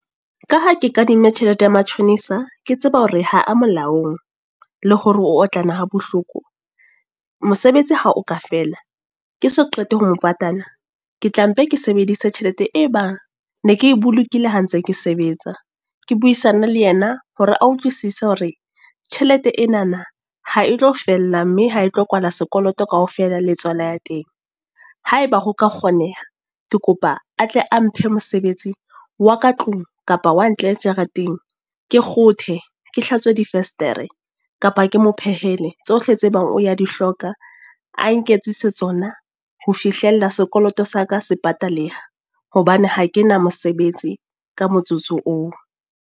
Ka ha ke kadima tjhelete ya matjhonisa. Ke tseba hore ha a molaong, le hore o otlana ha bohloko. Mosebetsi ha o ka fela, ke so qete ho mo patala. Ke tla mpe ke sebedise tjhelete e bang, ne ke bolokile ha ntse ke sebetsa. Ke buisane le yena hore a utlwisisa hore, tjhelete enana ha e tlo fella mme ha e tlo kwala sekoloto kaofela la tswala ya teng. Haeba ho ka kgoneha, ke kopa a tle a mphe mosebetsing wa ka tlung kapa wa ntle jarateng. Ke kgothe, ke hlatswe di vestere, kapa ke mophehele. Tsohle tse ebang o ya di hloka, a nketsise tsona. Ho fihlella sekoloto sa ka se pataleha. Hobane ha ke na mosebetsi ka motsotso oo.